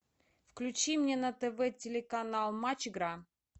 включи мне на тв телеканал матч игра